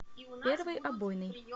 первый обойный